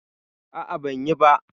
A'a, ban yi ba